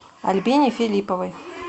альбине филипповой